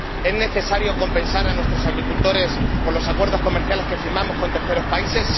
¿Es necesario compensar a nuestros agricultores por los acuerdos comerciales que firmamos con terceros países?